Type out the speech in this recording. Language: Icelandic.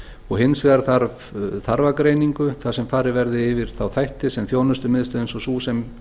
og hins vegar þarf þarfagreiningu þar sem farið verði yfir þá þætti sem þjónustumiðstöð eins og sú sem